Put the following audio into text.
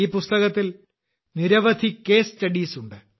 ഈ പുസ്തകത്തിൽ നിരവധി കേസ് സ്റ്റഡീസ് ഉണ്ട്